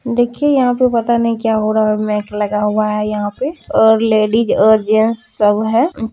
दिखिए यहाँ पे पता नही क्या हो रहा मेक लगा हुआ हैं यहाँ पे और लेडीज और जेंट्स सब हैं।